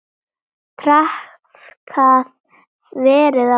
Traðkað verið á mörkum.